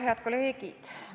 Head kolleegid!